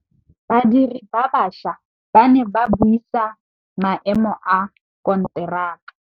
Badiri ba baša ba ne ba buisa maêmô a konteraka.